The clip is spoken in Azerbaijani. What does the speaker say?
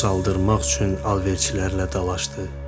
su saldırmaq üçün alverçilərlə dalaşdı.